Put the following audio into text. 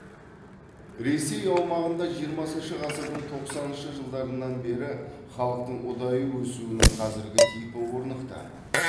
ресей аумағында жиырмасыншы ғасырдың тоқсаныншы жылдарынан бері халықтың ұдайы өсуінің қазіргі типі орнықты